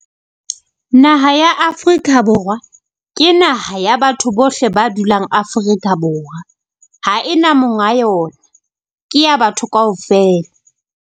Naha ya Afrika Borwa ke naha ya batho bohle ba dulang Afrika Borwa, ha ena monga yona ke ya batho kaofela.